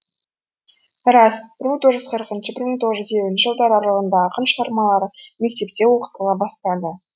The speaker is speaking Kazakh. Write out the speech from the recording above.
рас бір мың тоғыз жүз қырқыншы бір мың тоғыз жүз елуінші жылдар аралығында ақын шығармалары мектепте оқытыла бастады